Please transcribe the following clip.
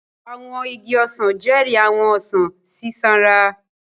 Àwọn igi ọsan jẹri àwọn ọsan sisanra.